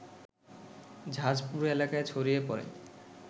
ঝাঁজ পুরো এলাকায় ছড়িয়ে পড়ে